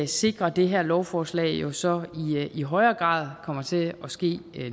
sikrer det her lovforslag jo så i højere grad kommer til at ske